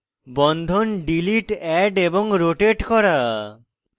বন্ধন delete add এবং rotate করা